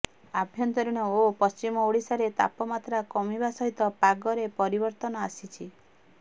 ଆଭ୍ୟନ୍ତରୀଣ ଓ ପଶ୍ଚିମ ଓଡ଼ିଶାରେ ତାପମାତ୍ରା କମିବା ସହିତ ପାଗରେ ପରିବର୍ତ୍ତନ ଆସିଛି